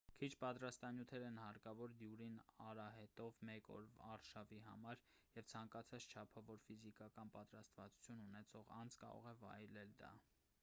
քիչ պատրաստություններ են հարկավոր դյուրին արահետով մեկ օրվա արշավի համար և ցանկացած չափավոր ֆիզիկական պատրաստվածություն ունեցող անձ կարող է վայելել դա